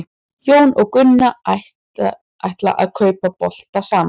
Jón og Gunna ætla að kaupa bolta saman.